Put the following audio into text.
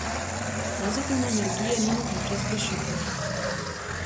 Pozitivne energije ni mogoče zgrešiti.